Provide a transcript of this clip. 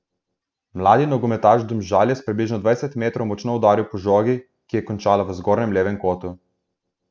Mladi nogometaš Domžal je s približno dvajsetih metrov močno udaril po žogi, ki je končala v zgornjem levem kotu.